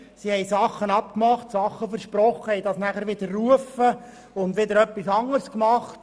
Sie hat Vereinbarungen getroffen und Versprechen abgegeben, diese aber widerrufen und wiederum etwas anderes getan.